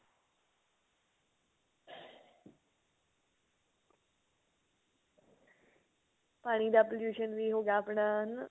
ਪਾਣੀ ਦਾ pollution ਵੀ ਹੋ ਗਿਆ ਆਪਣਾ ਹਨਾ